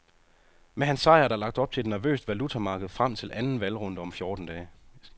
Med hans sejr er der lagt op til et nervøst valutamarked frem til anden valgrunde om fjorten dage.